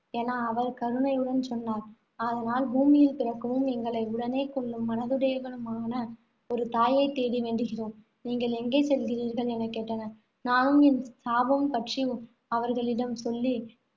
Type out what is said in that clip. என அவர் கருணையுடன் சொன்னார். அதனால் பூமியில் பிறக்கவும், எங்களை உடனே கொல்லும் மனதுடையவளுமான ஒரு தாயை தேடி வேண்டுகிறோம். நீங்கள் எங்கே செல்கிறீர்கள் எனக் கேட்டனர். நானும் என் சாபம் பற்றி அவர்களிடம் சொல்லி,